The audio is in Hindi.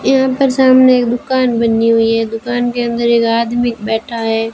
यहां पर सामने एक दुकान बनी हुई है। दुकान के अंदर एक आदमी बैठा है।